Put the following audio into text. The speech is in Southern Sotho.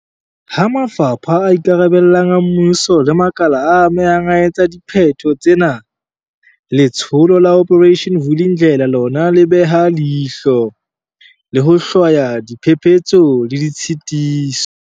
Ha mafapha a ikarabellang a mmuso le makala a amehang a etsa dipheto tsena, Letsholo la Operation Vuli ndlela lona le beha leihlo, le ho hlwaya diphephetso le ditshitiso.